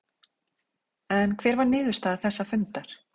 En hver var niðurstaða þess fundar?